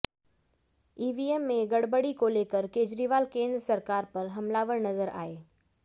EVM में गड़बड़ी को लेकर केजरीवाल केंद्र सरकार पर हमलावर नजर आए